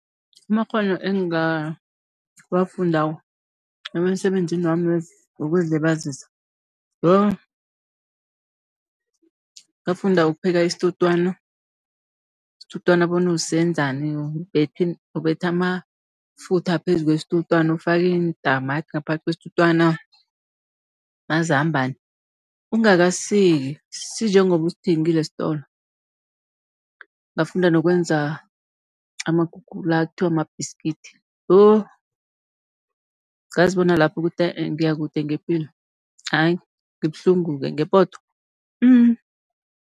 Amakghono engawafundako emsebenzini wami wokuzilibazisa, yo ngafunda ukupheka isitutwana, isitutwana bona usenzani, ubetha amafutha phezu kwesitutwana, ufake iintamati ngaphakathi kwesitutwana, mazambana ungakasisiki sinjengoba usithengile esitolo. Ngafunda nokwenza amakuke la ekuthiwa ma-biscuit, yo ngazi bona lapho ukuthi huh uh ngiyakude ngepilo, ayi ngibuhlungu-ke ngepoto.